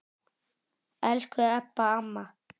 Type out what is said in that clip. Elsku Ebba amma.